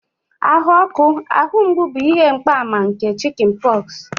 ahụ ọkụ, ahụ mgbu bụ ihe mgbaàmà nke chickenpox